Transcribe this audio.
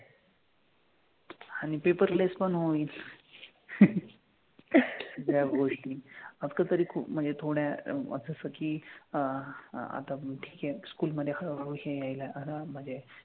आणि paperless पण होईल ह्या गोष्टी. आता तरी खूप म्हणजे थोड्या असं असं की अह आता ठीक आहे school मधे हळूहळू हे यायला आराममधे.